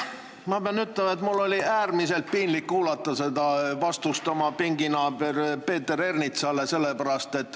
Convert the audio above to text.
Ma pean ütlema, et mul oli äärmiselt piinlik kuulata vastust oma pinginaabrile Peeter Ernitsale.